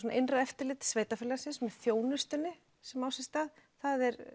innra eftirlit sveitarfélagsins með þjónustunni sem á sér stað það er